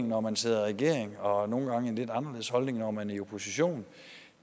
når man sidder i regering og nogle gange en lidt anderledes holdning når man er i opposition